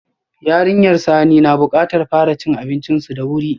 Yarinyar Sani na bukatar fara cin abincinsu da wuri.